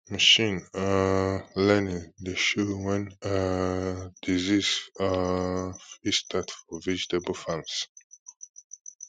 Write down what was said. machine um learning dey show when um disease um fit start for vegetable farms